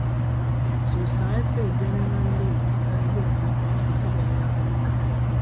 societe generale dá ilé ìfowópamọ kan sílẹ ní africa